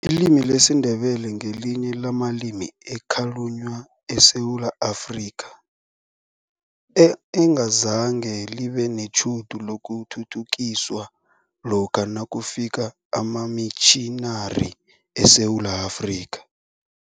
Ilimi lesiNdebele ngelinye lamalimi ekhalunywa eSewula Afrika, engazange libe netjhudu lokuthuthukiswa lokha nakufika amamitjhinari eSewula Afrika.